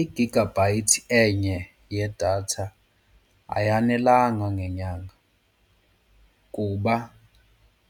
I-gigabyte enye yedatha ayanelanga ngenyanga kuba